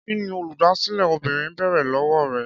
Kí ni Olùdásílẹ̀ obìnrin béèrè lọ́wọ́ rẹ?